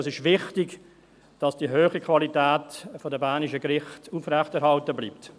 Es ist wichtig, dass die hohe Qualität der bernischen Gerichte aufrechterhalten bleibt.